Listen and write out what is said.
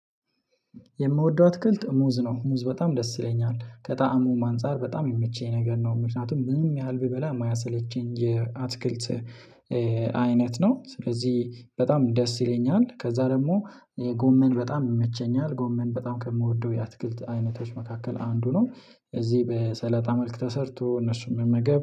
የምወደው አትክልት ሙዝ ነው። ሙዝ በጣም ደስ ይለኛል ከጣዕሙ አንፃር በጣም የሚመቸኝ ነገር ነው ምክንያቱም ምንም ያህል ብበላ የማያሰለቸኝ የአትክልት አይነት ነው። ስለዚህ በጣም ደስ ይለኛል። ከዛ ደግሞ ጎመን በጣም ይመቸኛል ጎመን በጣም ከምወደው የአትክልት አይነቶች መካከል አንዱ ነው። እዚህ በሰለጣ መልክ ተሰርቶ እነሱን መመገብ